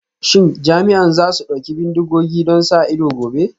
Shin jami'an za su ɗauki bindigogi don sa ido gobe?